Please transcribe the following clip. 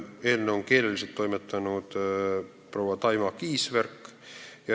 Eelnõu on keeleliselt toimetanud proua Taima Kiisverk.